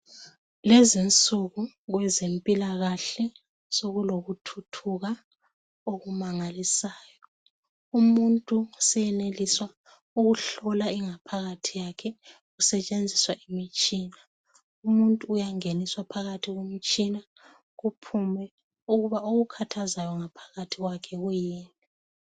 Lezinsuku kwezempilakale sokulokuthuthuka okumangalisayo umuntu senelisa ukuhlola ingaphakathi yakhe kusetshenziswa imitshina, umuntu uyangeniswa emtshineni kuphume ukuthi okumkhathazayo ngaphakathi kuyini